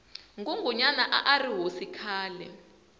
ngungunyana arihhosi khale